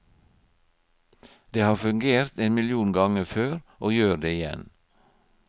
Det har fungert en million ganger før, og gjør det igjen.